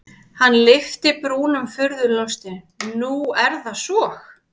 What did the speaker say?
Hann lyfti brúnum furðulostinn:-Nú er það svo?